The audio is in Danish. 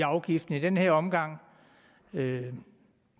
afgiften i den her omgang det